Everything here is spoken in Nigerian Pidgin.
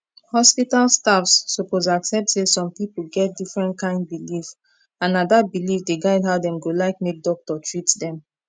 hospital staffs suppose accept say some people get different kind belief and na that belief dey guide how dem go like make doctor treat dem